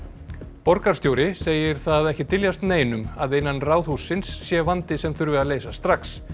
borgarstjóri segir það ekki dyljast neinum að innan Ráðhússins sé vandi sem þurfi að leysa strax